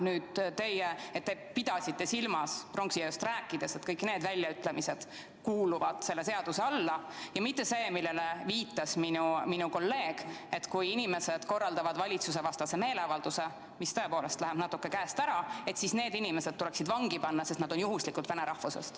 Ma loodan, et te pidasite pronksiööst rääkides silma seda, et kõik need väljaütlemised lähevad selle seaduseelnõu alla, ja mitte seda, millele viitas minu kolleeg, et kui inimesed korraldavad valitsusevastase meeleavalduse, mis läheb natuke käest ära, siis need inimesed tuleks vangi panna, sest nad on juhuslikult vene rahvusest.